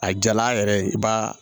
A jala yɛrɛ i b'a